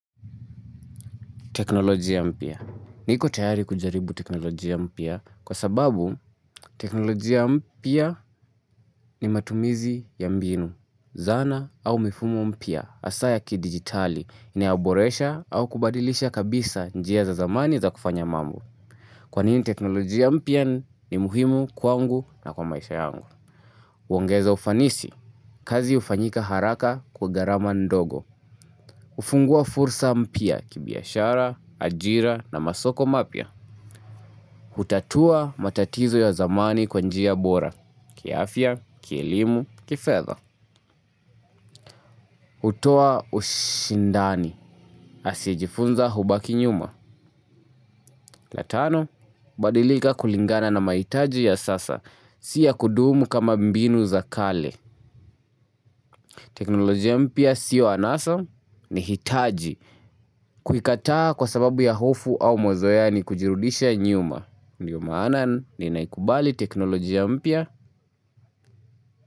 Teknolojia mpya. Niko tayari kujaribu teknolojia mpya kwa sababu teknolojia mpya ni matumizi ya mbinu. Zana au mifumo mpya hasaa ya kidigitali. Inayoboresha au kubadilisha kabisa njia za zamani za kufanya mambo. Kwanini teknolojia mpya ni muhimu kwangu na kwa maisha yangu. Huongeza ufanisi, kazi hufanyika haraka kwa gharama ndogo hufungua fursa mpya kibiashara, ajira na masoko mapya Hutatua matatizo ya zamani kwa njia bora, kiafya, kielimu, kifedha hutoa ushindani, asiyejifunza hubaki nyuma la tano, badilika kulingana na mahitaji ya sasa, si ya kudumu kama mbinu za kale teknolojia mpya siyo anasa ni hitaji Kuikataa kwa sababu ya hofu au mazoea ni kujirudisha nyuma. Ndiyo maana ninaikubali teknolojia mpya.